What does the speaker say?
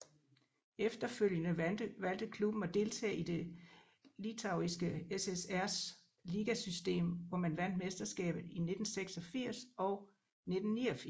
Efterfølgende valgte klubben at deltage i det Litauiske SSRs ligasystem hvor man vandt mesterskabet i 1986 og 1989